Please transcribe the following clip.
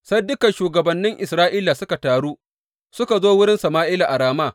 Sai dukan shugabannin Isra’ila suka taru suka zo wurin Sama’ila a Rama.